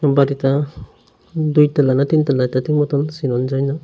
বাড়িটা দুইতালা না তিনতালা এটা ঠিক মতন চেনন যায় না।